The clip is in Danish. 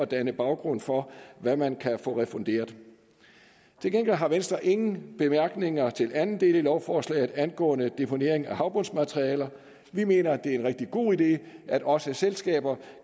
danne baggrund for hvad man kan få refunderet til gengæld har venstre ingen bemærkninger til den anden del af lovforslaget angående deponering af havbundsmaterialer vi mener at det er en rigtig god idé at også selskaber